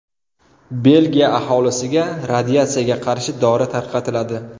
Belgiya aholisiga radiatsiyaga qarshi dori tarqatiladi.